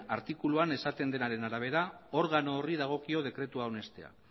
artikuluan esaten denaren arabera organo horri dagokio dekretua onestea